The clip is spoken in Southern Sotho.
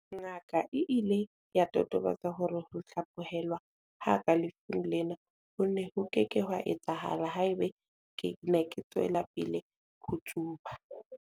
Ngaka e ile ya totobatsa hore ho hlaphohelwa ha ka lefung lena ho ne ho ke ke ha etsahala haeba ke ne ke tswela pele ho tsuba.